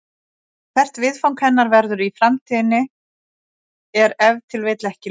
Hvert viðfang hennar verður í framtíðinni er ef til vill ekki ljóst.